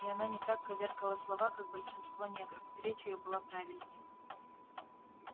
и она не так коверкала слова как большинство негров речь её была правильной